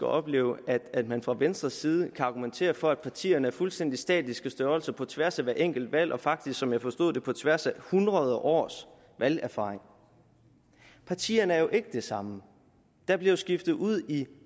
opleve at man fra venstres side kan argumentere for at partierne er fuldstændig statiske størrelser på tværs af hvert enkelt valg og faktisk som jeg forstod det på tværs af hundrede års valgerfaring partierne er jo ikke de samme der bliver jo skiftet ud i